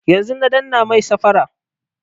Yanzun na dannan mai safara